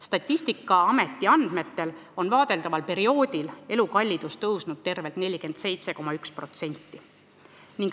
Statistikaameti andmetel tõusis vaadeldaval perioodil elukallidus tervelt 47,1%.